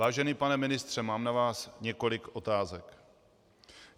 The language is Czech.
Vážený pane ministře, mám na vás několik otázek.